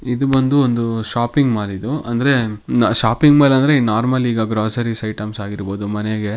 ಇದು ಬಂದು ಒಂದು ಶಾಪಿಂಗ್ ಮಾಲಿದು ಅಂದ್ರೆ ಶಾಪಿಂಗ್ ಮಾಲ್ ಅಂದ್ರೆ ನಾರ್ಮಲಿ ಈಗ ಗ್ರಾಸರೀ ಐಟಮ್ಸ್ ಆಗಿರಬಹುದು ಮನೆಗೆ --